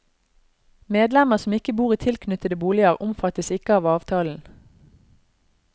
Medlemmer som ikke bor i tilknyttede boliger, omfattes ikke av avtalen.